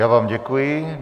Já vám děkuji.